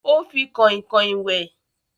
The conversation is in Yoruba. O fi Kọ̀inkọ̀in wẹ̀